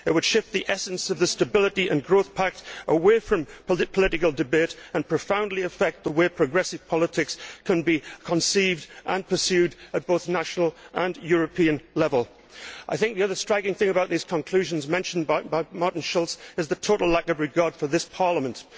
It would shift the essence of the Stability and Growth Pact away from political debate and profoundly affect the way that progressive politics can be conceived and pursued at both national and European level. The other striking thing about these conclusions, mentioned by Martin Schulz, is the total lack of regard for this Parliament.